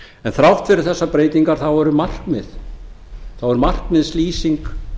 en þrátt fyrir þessar breytingar þá er markmiðslýsing